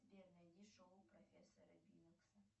сбер найди шоу профессора бинокса